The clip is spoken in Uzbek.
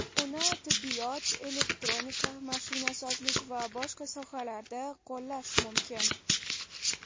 Uni tibbiyot, elektronika, mashinasozlik va boshqa sohalarda qo‘llash mumkin”.